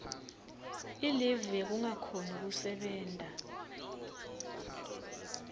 ilivu yekungakhoni kusebenta